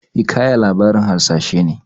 Hikaya labarin hasashe ne.